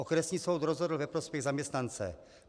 Okresní soud rozhodl ve prospěch zaměstnance.